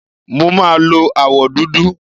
Mo máa lo àwọ̀ dúdú.